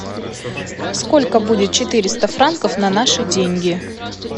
сколько будет четыреста франков на наши деньги